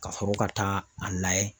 Ka sɔrɔ ka taa a layɛ.